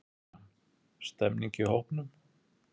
Kristján: Stemmning í hópnum?